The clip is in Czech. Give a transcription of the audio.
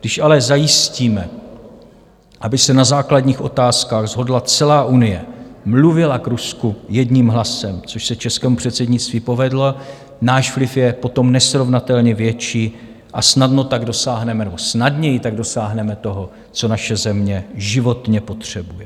Když ale zajistíme, aby se na základních otázkách shodla celá Unie, mluvila k Rusku jedním hlasem, což se českému předsednictví povedlo, náš vliv je potom nesrovnatelně větší a snadněji tak dosáhneme toho, co naše země životně potřebuje.